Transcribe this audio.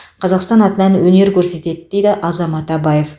қазақстан атынан өнер көрсетеді дейді азамат абаев